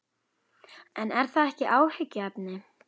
En er það ekki áhyggjuefni?